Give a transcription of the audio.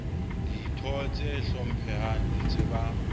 ditho tse hlomphehang di tseba